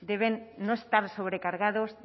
deben no estar sobrecargados